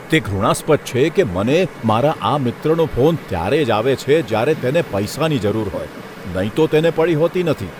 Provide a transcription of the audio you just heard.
તે ઘૃણાસ્પદ છે કે મને મારા આ મિત્રનો ફોન ત્યારે જ આવે છે જ્યારે તેને પૈસાની જરૂર હોય, નહીં તો તેને પડી હોતી નથી.